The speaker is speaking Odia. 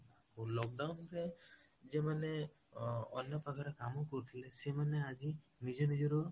ଯୋଉ lockdown ରେ ଯୋଉମାନେ ଅନ୍ୟ ପାଖରେ କାମ କରୁଥିଲେ ସେମାନେ ଆଜି ନିଜ ନିଜର